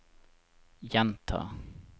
gjenta